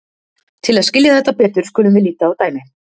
til að skilja þetta betur skulum við líta á dæmi